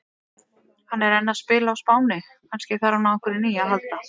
Hann er enn að spila á Spáni, kannski þarf hann á einhverju nýju að halda?